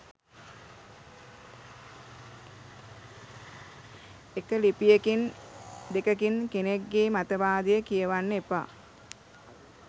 එක ලිපියකින් දෙකකින් කෙනෙක්ගේ මතවාදය කියවන්න එපා